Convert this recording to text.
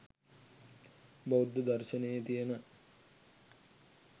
බෞද්ධ දර්ශනයේ තියෙන